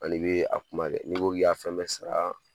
Ani bi a kuma kɛ n'i ko k'i y'a fɛn bɛɛ sara